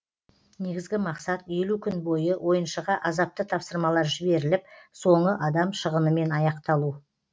негізгі мақсат елу күн бойы ойыншыға азапты тапсырмалар жіберіліп соңы адам шығынымен аяқталу